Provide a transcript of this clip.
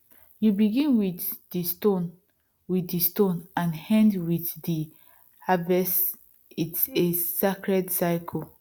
you begin with the stone with the stone and end with the harvestits a sacred cycle